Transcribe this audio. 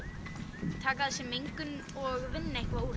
taka að sér mengun og vinna eitthvað úr